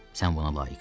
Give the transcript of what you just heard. Sən buna layiqsən.